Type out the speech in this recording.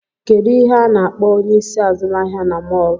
Kedụ ihe a na-akpọ onyeisi azụmahịa na mọl?